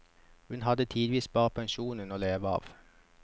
Hun hadde tidvis bare pensjonen å leve av.